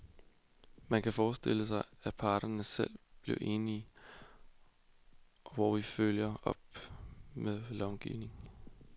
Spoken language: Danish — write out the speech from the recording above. Man kan forestille sig, at parterne selv bliver enige, og hvor vi følger op med lovgivning.